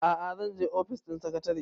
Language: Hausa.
a'a zan je ofis ɗin sakatare